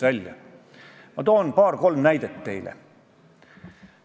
Saalis ei ole ühtegi Reformierakonna fraktsiooni esindajat ja see on ilmselt nende teadlik valik.